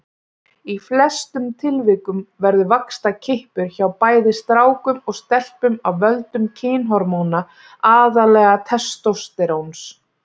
Í flestum tilvikum verður vaxtarkippur hjá bæði strákum og stelpum af völdum kynhormóna, aðallega testósteróns.